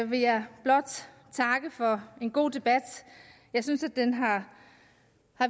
vil jeg blot takke for en god debat jeg synes den har